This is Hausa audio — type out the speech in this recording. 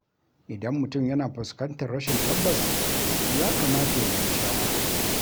Idan mutum yana fuskantar rashin tabbas, ya kamata ya nemi shawara.